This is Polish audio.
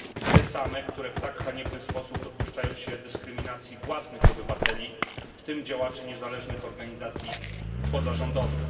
Te same, które w tak haniebny sposób dopuszczają się dyskryminacji własnych obywateli, w tym działaczy niezależnych organizacji pozarządowych.